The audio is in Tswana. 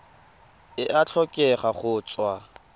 e a tlhokega go tswa